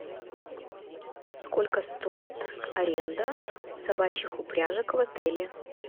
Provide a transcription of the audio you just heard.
сколько стоит аренда собачьих упряжек в отеле